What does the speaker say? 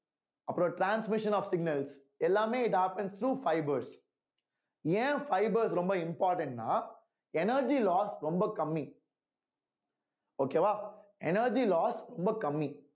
அப்புறம் transmission of signals எல்லாமே it happens through fibers ஏன் fibres ரொம்ப important ன்னா energy loss ரொம்ப கம்மி okay வா energy loss ரொம்ப கம்மி